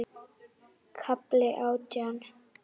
KAFLI ÁTJÁN